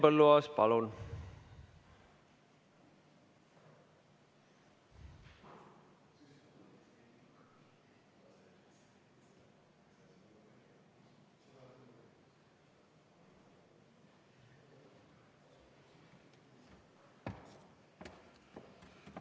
Henn Põlluaas, palun!